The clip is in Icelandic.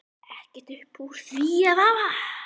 Ekkert upp úr því að hafa?